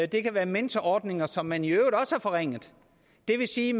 det kan være mentorordninger som man i øvrigt også har forringet det vil sige